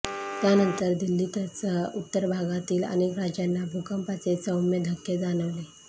त्यानंतर दिल्लीतसह उत्तरभारतातील अनेक राज्यांना भूकंपाचे सौम्य धक्के जाणवले